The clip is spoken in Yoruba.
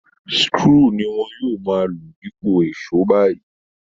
Screw ni wọn yóò máa lò dípò èṣó báyìí